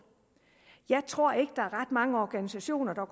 jeg tror ikke at der er ret mange organisationer hvor